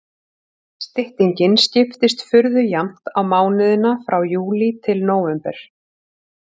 Styttingin skiptist furðu jafnt á mánuðina frá júlí til nóvember.